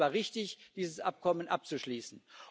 Und es war richtig, dieses Abkommen abzuschließen.